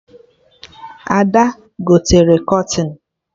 Ada gotere kọtịn